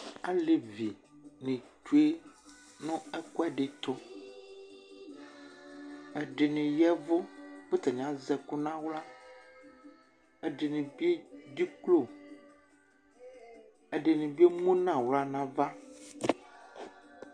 Alevini tsue nʋ ɛk'ɛdi tʋ Ɛdini yavʋ k'atani az'ɛkʋ n'aɣla Ɛdini bi edzeklo, ɛdini bi emu n'ɣla n'ava